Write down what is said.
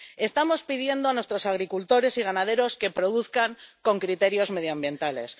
Estamos pidiendo a nuestros agricultores y ganaderos que produzcan con criterios medioambientales